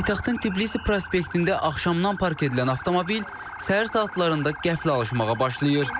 Paytaxtın Tbilisi prospektində axşamdan park edilən avtomobil səhər saatlarında qəflə alışmağa başlayır.